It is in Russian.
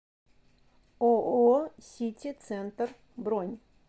ооо сити центр бронь